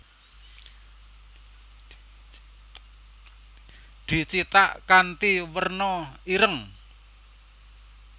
Dicithak kanthi werna ireng